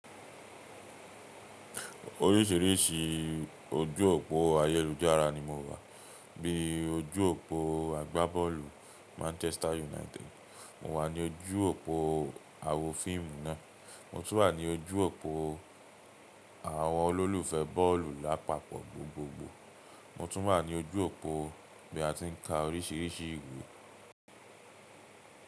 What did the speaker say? Oríṣìíríṣìí ojú òpó ayélujára ni mo wà, bíi ojú òpó àgbábọ́ọ̀lù Manchester United, mo wà ní ojú òpó àwo fíìmù náà, mo tún wà ní ojú òpó àwọn olólùfẹ́ bọ́ọ̀lù lápapọ̀, gbogbogbò, motu wà ní ojú òpó ibi a ti ń ka oríṣìíríṣìí ìwé.